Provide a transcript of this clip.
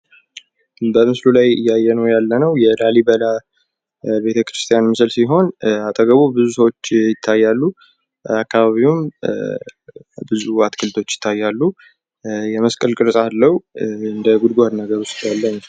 በምስሉ ላይ እያየን ያለንው የላሊበላ ቤተክርስቲያን ሲሆን አጠገቡ ብዙ ሰዎች ይታያሉ። አካባቢውም ብዙ አትክልቶች ይታያሉ። የመስቀል ቅርጽ አለው። በጉድጓድ ነገር ውስጥ ያለ ነው።